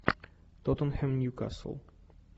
тоттенхэм ньюкасл